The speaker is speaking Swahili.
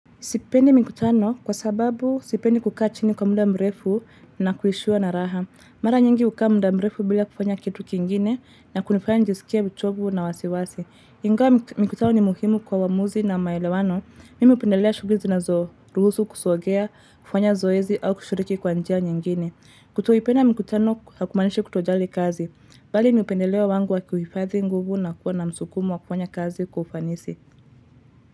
Sipendi mikutano kwa sababu sipendi kukaa chini kwa muda mrefu na kuishiwa na raha. Mara nyingi hukaa muda mrefu bila kufanya kitu kingine na kunifanya nijisikie uchovu na wasiwasi. Ingawa mkutano ni muhimu kwa uamuzi na maelewano. Mimi hupendelea shuguli zinazo, ruhusu kusongeea, kufanya zoezi au kushiriki kwa njia nyingine. Kutoipenda mikutano hakumaanishi kutojali kazi. Bali ni upendeleo wangu wa kuhifadhi nguvu na kuwa na msukumo wa kufanya kazi kwa ufanisi.